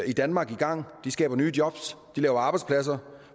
i danmark i gang de skaber nye jobs de laver arbejdspladser